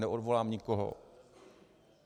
Neodvolám nikoho.